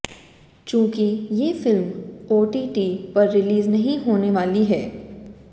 चूंकि ये film OTT पर रिलीज नहीं होने वाली है